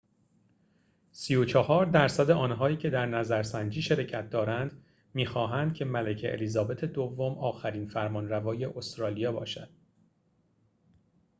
۳۴ درصد آنهایی که در نظرسنجی شرکت دارند می‌خواهند که ملکه الیزابت دوم آخرین فرمانروای استرالیا باشد